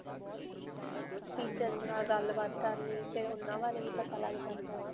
teacher ਗੱਲ-ਬਾਤ ਕਰਨੀ, ਫਿਰ ਓਨ੍ਹਾਂ ਬਾਰੇ ਵੀ ਪਤਾ ਲਗ ਜਾਂਦਾ ਹੈ.